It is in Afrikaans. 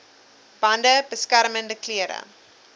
bande beskermende klere